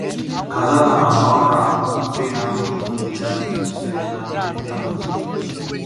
cassava and okra wey ham body dey guard themselves and make ground good